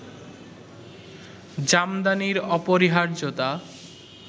জামদানির অপরিহার্যতা